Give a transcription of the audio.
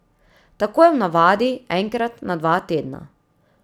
Tako je v navadi, enkrat na dva tedna.